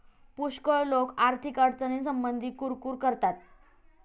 पुष्कळ लोक आर्थिक अडचणींसंबंधी कुरकूर करतात.